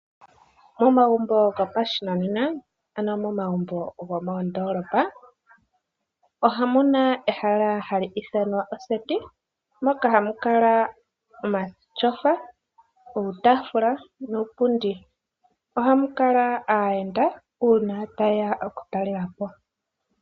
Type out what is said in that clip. Momagumbo gopashinena, ano momagumbo gomoondoolopa, omuna ehala hali ithanwa oseti, moka hamu kala omatyofa, uutaafula nuupundi. Ohamu kala aayenda uuna ta yeya oku talelapo.